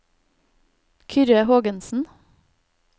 Kyrre Hågensen